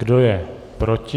Kdo je proti?